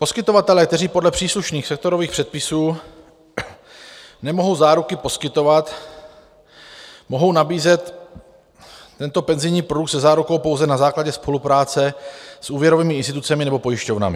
Poskytovatelé, kteří podle příslušných sektorových předpisů nemohou záruky poskytovat, mohou nabízet tento penzijní produkt se zárukou pouze na základě spolupráce s úvěrovými institucemi nebo pojišťovnami.